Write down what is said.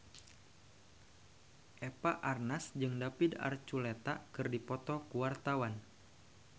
Eva Arnaz jeung David Archuletta keur dipoto ku wartawan